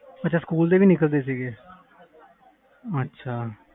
ਅੱਛਾ ਸਕੂਲ ਦੇ ਵੀ ਨਿਕਲ ਦੇ ਸੀ ਅੱਛਾ